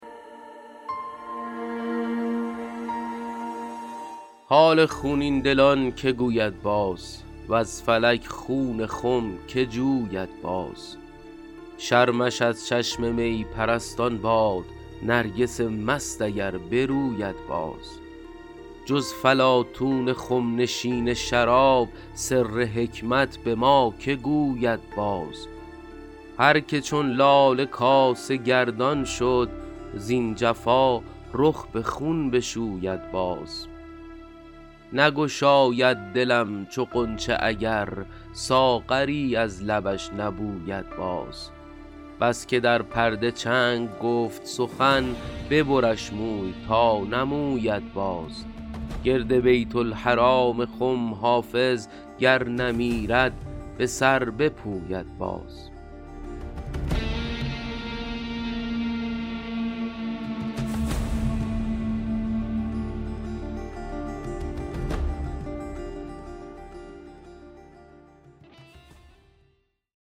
حال خونین دلان که گوید باز وز فلک خون خم که جوید باز شرمش از چشم می پرستان باد نرگس مست اگر بروید باز جز فلاطون خم نشین شراب سر حکمت به ما که گوید باز هر که چون لاله کاسه گردان شد زین جفا رخ به خون بشوید باز نگشاید دلم چو غنچه اگر ساغری از لبش نبوید باز بس که در پرده چنگ گفت سخن ببرش موی تا نموید باز گرد بیت الحرام خم حافظ گر نمیرد به سر بپوید باز